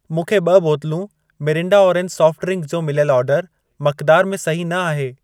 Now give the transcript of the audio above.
मूंखे ॿ बोतलूं मिरिंडा ऑरेंज सॉफ्ट ड्रिंकु जो मिलियल ऑर्डरु मक़दार में सही न आहे।